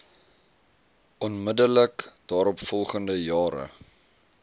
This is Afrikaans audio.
onmiddellik daaropvolgende jare